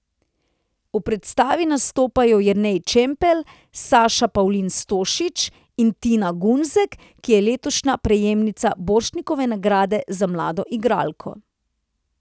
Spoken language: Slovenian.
V predstavi nastopajo Jernej Čampelj, Saša Pavlin Stošić in Tina Gunzek, ki je letošnja prejemnica Borštnikove nagrade za mlado igralko.